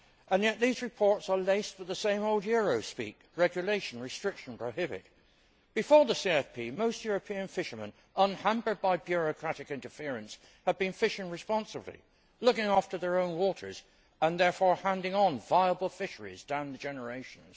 Yet these reports are laced with the same old Eurospeak regulation, restriction, prohibit. Before the CFP most European fishermen, unhampered by bureaucratic interference, had been fishing responsibly, looking after their own waters and therefore handing on viable fisheries down the generations.